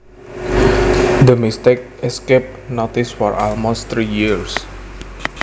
The mistake escaped notice for almost three years